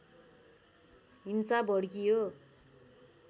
हिंसा भड्कियो